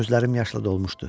Gözlərim yaşla dolmuşdu.